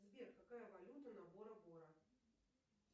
сбер какая валюта на бора бора